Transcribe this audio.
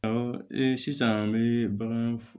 Ɔ sisan an bɛ bagan